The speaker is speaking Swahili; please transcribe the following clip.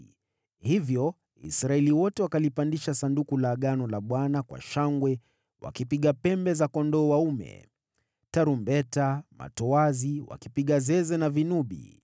Hivyo Israeli wote wakalipandisha Sanduku la Agano la Bwana kwa shangwe, wakipiga pembe za kondoo dume, tarumbeta, matoazi, wakipiga zeze na vinubi.